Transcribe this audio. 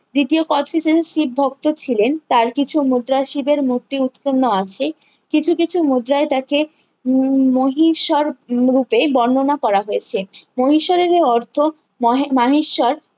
দ্বিতীয় কোচটিজিজের শিব ভক্ত ছিলেন তার কিছু মুদ্রা শিবের মূর্তি উৎকীর্ণ আছে কিছু কিছু মুদ্রায় তাকে উহ মহীসোর রূপে বর্ণনা করা হয়েছে মহীসোরের এই অর্থ মোহে মানেশ্বর